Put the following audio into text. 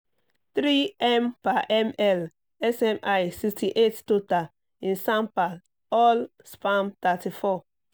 three m per ml smi sixty eight total in sampal all sperm thirty four